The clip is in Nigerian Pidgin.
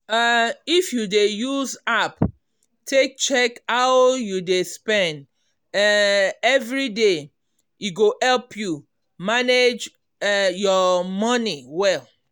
um if you dey use app take check how you dey spend um everyday e go help you manage um your money well.